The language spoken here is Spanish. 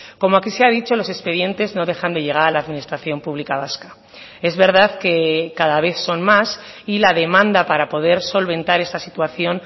como aquí se ha dicho los expedientes no dejan de llegar a la administración pública vasca es verdad que cada vez son más y la demanda para poder solventar esa situación